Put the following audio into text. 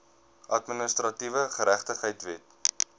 administratiewe geregtigheid wet